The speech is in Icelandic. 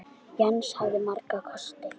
Jens hafði marga kosti.